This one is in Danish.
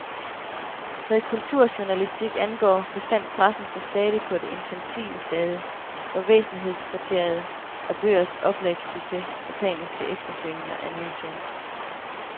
Hvad kulturjournalistik angår, befandt pressen sig stadig på det infantile stade, hvor væsentlighedskriteriet er bøgers oplagssucces og paniske eftersøgninger af nye trends.